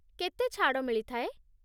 କେତେ ଛାଡ଼ ମିଳିଥାଏ?